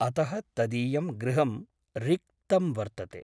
अतः तदीयं गृहं रिक्तं वर्तते ।